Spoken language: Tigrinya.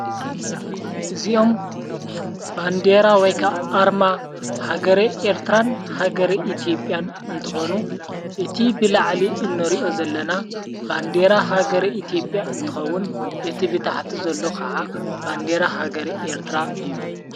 እዚኦም ባንዴራ ወይካ ኣርማ ሃገር ኤርትራን ሃገረ ኢቲብያን እንተኾኑ እቲ ብላዕሊ እኖሪዮ ዘለና ባንዴራ ሃገር ኢቲብያ እንተኸውን እቲ ብታሕቲ ዘሎ ኸዓ ባንዴራ ሃገር ኤርትራ እዩ።